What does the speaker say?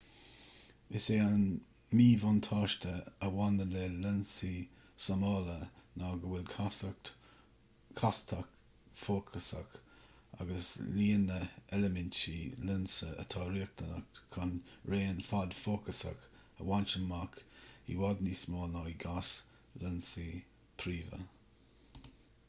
is é an míbhuntáiste a bhaineann le lionsaí súmála ná go bhfuil castacht fhócasach agus líon na n-eilimintí lionsa atá riachtanach chun raon fad fócasach a bhaint amach i bhfad níos mó ná i gcás lionsaí príomha